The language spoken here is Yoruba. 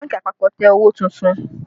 Bánkì àpapọ̀ tẹ owó tuntun